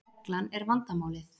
Reglan er vandamálið.